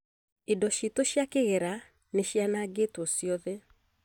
Indo citũ cia kĩgera nĩ cianangĩtwo ciothe